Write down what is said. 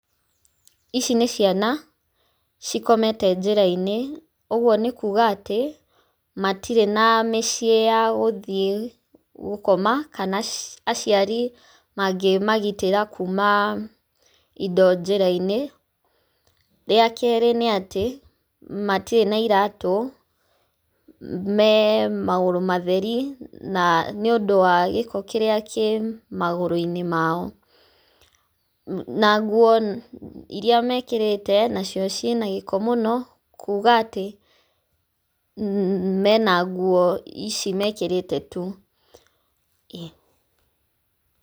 Ici nĩ ciana, cikomete njĩrainĩ, ũguo nĩ kuga atĩ, matirĩ na mĩciĩ ya gũthiĩ gũkoma, kana aciari mangĩmagitĩra kuma indo njĩrainĩ. Rĩa kerĩ nĩ atĩ, matirĩ na iratũ, me magũrũ matheri, na nĩ ũndũ wa gĩko kĩrĩa kĩ magũrũinĩ mao, na nguo iria mekĩrĩte nacio ciĩna gĩko mũno kuga atĩ, mena nguo ici mekĩrĩte tu, ĩĩ.